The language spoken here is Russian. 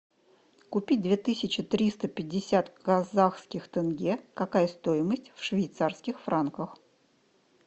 купить две тысячи триста пятьдесят казахских тенге какая стоимость в швейцарских франках